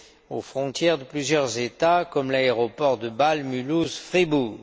aux frontières de plusieurs États, comme l'aéroport de Bâle Mulhouse Fribourg.